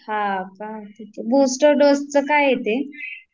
हा का, बुस्टर डोसच काय आहे ते